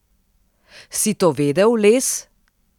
Si to vedel, Les?